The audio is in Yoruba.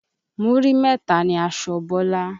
Múrí mẹ́ta ni aṣọ Bọ́lá.